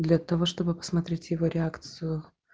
для того чтобы посмотреть его реакцию